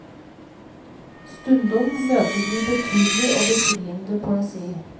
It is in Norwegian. Stundom møter vi betydelig og befriende poesi.